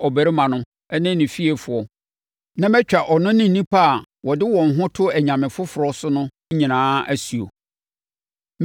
ɔbarima no ne ne fiefoɔ na matwa ɔno ne nnipa a wɔde wɔn ho to anyame foforɔ so no nyinaa asuo.